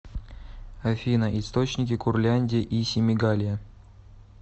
афина источники курляндия и семигалия